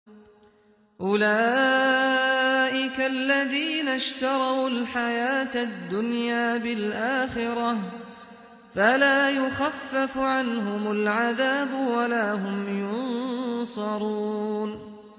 أُولَٰئِكَ الَّذِينَ اشْتَرَوُا الْحَيَاةَ الدُّنْيَا بِالْآخِرَةِ ۖ فَلَا يُخَفَّفُ عَنْهُمُ الْعَذَابُ وَلَا هُمْ يُنصَرُونَ